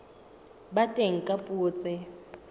ba teng ka dipuo tse